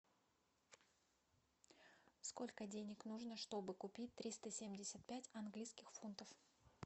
сколько денег нужно чтобы купить триста семьдесят пять английских фунтов